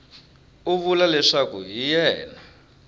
u vula leswaku hi yena